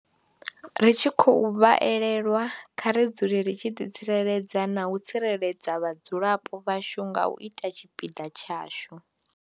Ri tshi khou vha elelwa, kha ri dzule ri tshi ḓitsireledza na u tsireledza vhadzulapo vhashu nga u ita tshipiḓa tshashu.